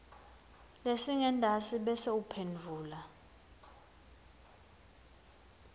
lesingentasi bese uphendvula